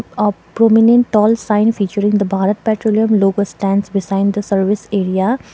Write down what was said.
a prominent tall sign featuring the bharat petroleum logo stands beside the service area.